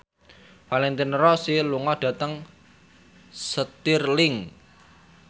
Valentino Rossi lunga dhateng Stirling